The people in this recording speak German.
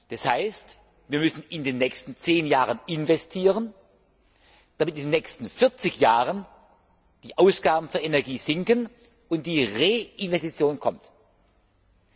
Das heißt, wir müssen in den nächsten 10 Jahren investieren, damit in den nächsten 40 Jahren die Ausgaben für Energie sinken und reinvestiert wird.